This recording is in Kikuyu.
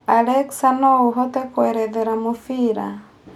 Alexa no ũhote kũerethera mũbira